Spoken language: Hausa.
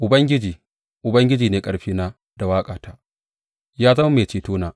Ubangiji, Ubangiji, ne ƙarfina da waƙata; ya zama mai cetona.